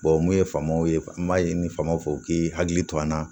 mun ye faamaw ye an b'a ɲini famaw fɛ u k'i hakili to an na